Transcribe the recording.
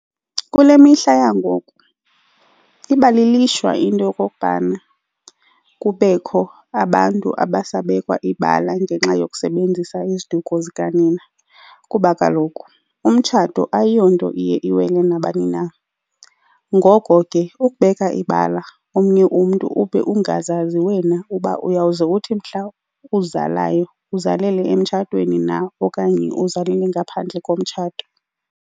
Kule mihla yangoku iba liishwa into yokokubana kubekho abantu abasabekwa ibala ngenxa yokusebenzisa iziduko zikanina kuba kaloku umtshato ayiyo nto iye iwele nabani na. Ngoko ke, ukubeka ibala omnye umntu ube ungazazi wena uba uyawuze uthi mhla uzalayo uzalele emtshatweni na okanye uzalele ngaphandle komtshato.